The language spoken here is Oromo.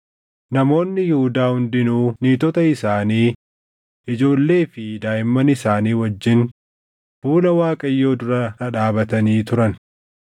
Namoonni Yihuudaa hundinuu niitota isaanii, ijoollee fi daaʼimman isaanii wajjin fuula Waaqayyoo dura dhadhaabatanii turan.